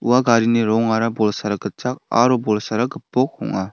ua garini rongara bolsara gitchak aro bolsara gipok ong·a.